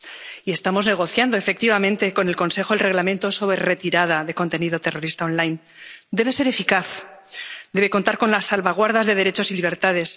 Y estamos negociando efectivamente con el Consejo el Reglamento sobre la retirada de contenido terrorista online Debe ser eficaz, debe contar con las salvaguardas de derechos y libertades.